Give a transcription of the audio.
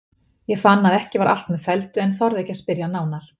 Ég fann að ekki var allt með felldu en þorði ekki að spyrja nánar.